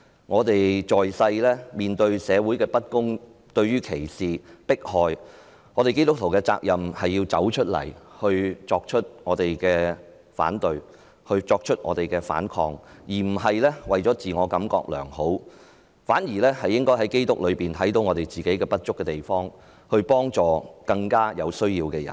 我們在世面對社會的不公，對於歧視和迫害，基督徒的責任是要走出來作出反對和反抗，而不是為了自我感覺良好，我們應在基督內看到自己不足的地方，幫助更有需要的人。